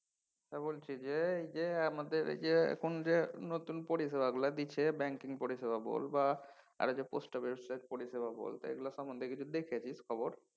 তা বলছি যে আমাদের এই যে এখন যে নতুন পরিষেবাগুলা দিচ্ছে banking পরিষেবা বল বা post office এর পরিষেবা বলতে। এগুলো সম্বন্ধে কিছু দেখেছিস খবর?